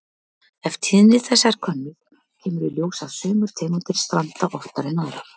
Ef tíðni þess er könnuð kemur í ljós að sumar tegundir stranda oftar en aðrar.